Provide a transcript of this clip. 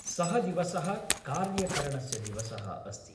सः दिवसः कार्यकरणस्य दिवसः अस्ति।